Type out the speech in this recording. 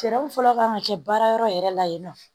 Fɛɛrɛ mun fɔlɔ kan ka kɛ baara yɔrɔ yɛrɛ la yen nɔ